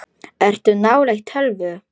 Ertu nálægt tölvu?